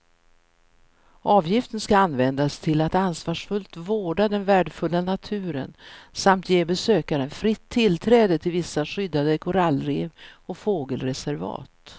Avgiften ska användas till att ansvarsfullt vårda den värdefulla naturen samt ge besökaren fritt tillträde till vissa skyddade korallrev och fågelreservat.